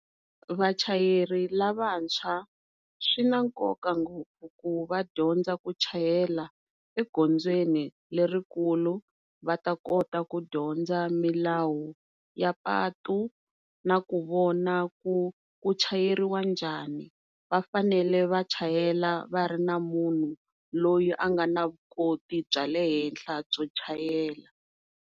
Vachayeri lavantshwa swi na nkoka ku va dyondza ku chayela egondzweni lerikulu va ta kota ku dyondza milawu ya patu na ku vona ku ku chayeriwa njhani, vafanele va chayela va ri na munhu loyi a nga na vuswikoti bya le henhla byo chayela.